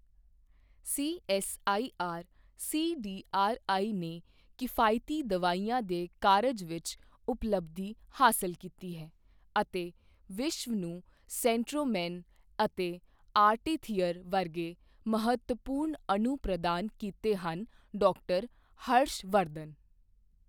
CSIR CDRI ਨੇ ਕਿਫਾਇਤੀ ਦਵਾਈਆਂ ਦੇ ਕਾਰਜ ਵਿੱਚ ਉਪਲੱਬਧੀ ਹਾਸਲ ਕੀਤੀ ਹੈ ਅਤੇ ਵਿਸ਼ਵ ਨੂੰ ਸੈਂਚ੍ਰੋਮੈਨ ਅਤੇ ਆਰਟੀਥੀਰ ਵਰਗੇ ਮਹੱਤਵਪੂਰਨ ਅਣੂ ਪ੍ਰਦਾਨ ਕੀਤੇ ਹਨ ਡਾ ਹਰਸ਼ ਵਰਧਨ